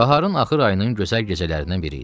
Baharın axır ayının gözəl gecələrindən biri idi.